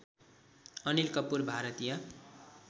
Anil Kapoor Bharatiya